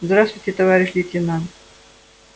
здравствуйте товарищ лейтенант